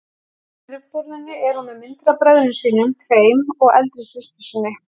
Á skrifborðinu er hún með myndir af bræðrum sínum tveim og eldri systur sinni.